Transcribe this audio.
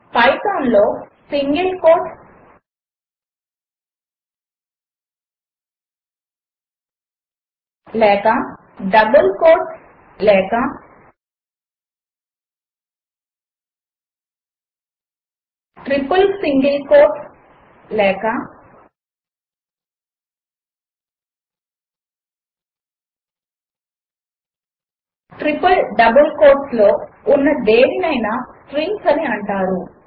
Python లో single quotes లేక double quotes లేక ట్రిపుల్ సింగిల్ కోట్స్ లేక ట్రిపుల్ డబుల్ కోట్స్లో ఉన్న దేనినైనా స్ట్రింగ్స్ అని అంటారు